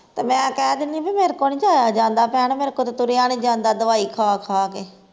ਤੇ ਮੈਂ ਕਹਿ ਦਿੰਦੀ ਵੀ ਮੇਰੇ ਕੋਲੋਂ ਨੀ ਜਾਇਆ ਜਾਂਦਾ ਭੈਣ ਮੇਰੇ ਕੋਲੋਂ ਤੇ ਤੁਰਿਆ ਨੀ ਜਾਂਦਾ ਦਵਾਈ ਖਾ ਖਾ ਕੇ